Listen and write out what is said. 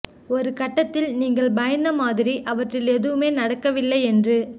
ஒரு கட்டத்தில் நீங்கள் பயந்த மாதிரி அவற்றில் எதுவுமே நடக்கவில்லை என்று